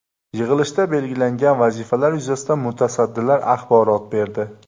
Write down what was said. Yig‘ilishda belgilangan vazifalar yuzasidan mutasaddilar axborot berdi.